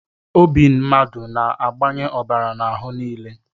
Obi mmadụ na-agbanye ọbara n'ahụ nile